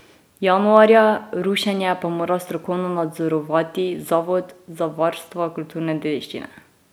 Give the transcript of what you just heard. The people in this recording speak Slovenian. Januarja, rušenje pa mora strokovno nadzorovati Zavod za varstvo kulturne dediščine.